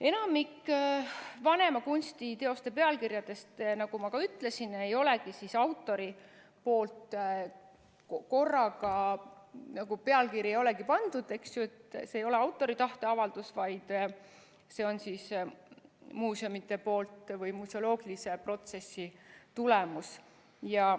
" Enamik vanemate kunstiteoste pealkirjadest, nagu ma ka ütlesin, ei olegi autori pandud, st see ei ole autori tahteavaldus, vaid see on muuseumide pandud või museoloogilise protsessi tulemus.